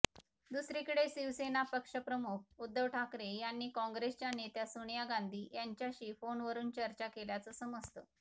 दुसरीकडे शिवसेना पक्षप्रमुख उद्धव ठाकरे यांनी काँग्रेसच्या नेत्या सोनिया गांधी यांच्याशी फोनवरून चर्चा केल्याचं समजतं